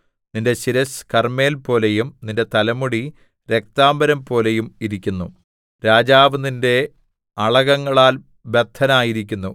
നിന്റെ ശിരസ്സ് കർമ്മേൽപോലെയും നിന്റെ തലമുടി രക്താംബരംപോലെയും ഇരിക്കുന്നു രാജാവ് നിന്റെ അളകങ്ങളാൽ ബദ്ധനായിരിക്കുന്നു